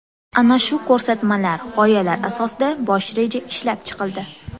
Ana shu ko‘rsatmalar, g‘oyalar asosida bosh reja ishlab chiqildi.